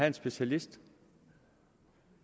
en specialist